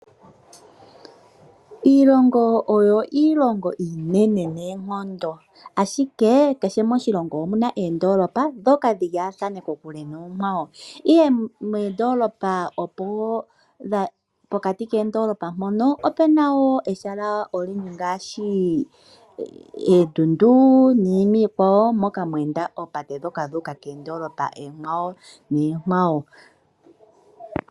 Iilongo oyo iilongo iinene noonkondo, ashike kehe moshilongo omu na oondoolopa ndhoka dhi lyaathaane kokule noonkwawo, ihe moondoolopa pokati koondoolopa mpono opu na wo ehala ngaashi oondundu niinima iikwawo moka mwe enda oopate ndhoka dhu uka koondoolopa oonkwawo.